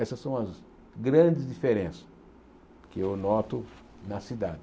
Essas são as grandes diferenças que eu noto na cidade.